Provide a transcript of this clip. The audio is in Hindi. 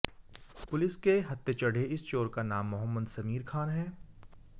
पुलिस के हत्थे चढ़े इस चोर का नाम मोहम्मद समीर खान है